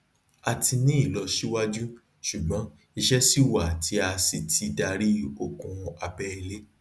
a ti ní ìlọsíwájú ṣùgbọn iṣẹ ṣi wà tí a sì ti darí okun abẹ ilẹ